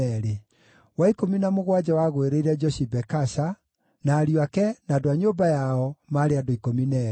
wa ikũmi na mũgwanja wagũĩrĩire Joshibekasha, na ariũ ake, na andũ a nyũmba yao, maarĩ andũ 12;